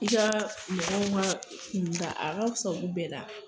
I ka mɔgɔw ma kunda a ka fusa olu bɛɛ la